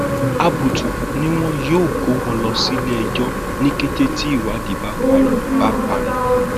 àbùtù ni wọn yóò kó wọn lọ síléẹjọ ní kété tí ìwádìí bá parí bá parí